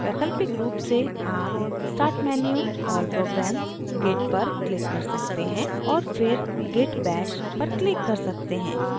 वैकल्पिक रूप से आप start menu>> all programs>> git पर click कर सकते हैं और फिर git bash पर click कर सकते हैं